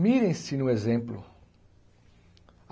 Mirem-se no exemplo.